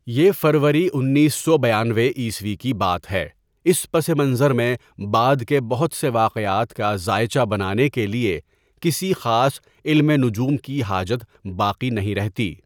یہ فروری انیس سو بیانوے عیسوی کی بات ہے اس پس منظر میں بعد کے بہت سے واقعات کا زائچہ بنانے کے لیے کسی خاص علم نجوم کی حاجت باقی نہیں رہتی.